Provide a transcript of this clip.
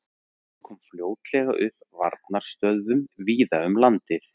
Herinn kom fljótlega upp varnarstöðvum víða um land.